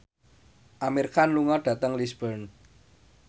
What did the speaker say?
Amir Khan lunga dhateng Lisburn